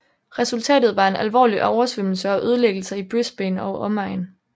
Resultatet var en alvorlig oversvømmelse og ødelæggelser i Brisbane og omegn